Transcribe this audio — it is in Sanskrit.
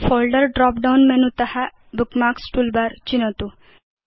फोल्डर ड्रॉप डाउन मेनु त बुकमार्क्स् टूलबार चिनोतु